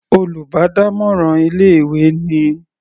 Olùbádámọ̀ràn ilé ìwé ni.